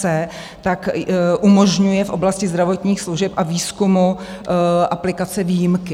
c) umožňuje v oblasti zdravotních služeb a výzkumu aplikace výjimky.